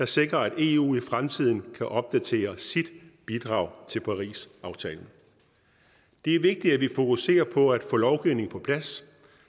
sikre at eu i fremtiden kan opdatere sit bidrag til parisaftalen det er vigtigt at vi fokuserer på at få lovgivningen på plads